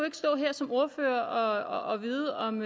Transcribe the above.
ikke stå her som ordfører og vide om